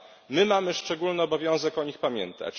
My mamy szczególny obowiązek o nich pamiętać.